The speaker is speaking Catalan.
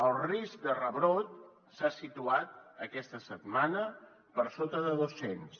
el risc de rebrot s’ha situat aquesta setmana per sota de dos cents